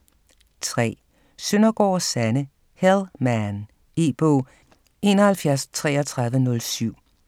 3. Søndergaard, Sanne: Hell man E-bog 713307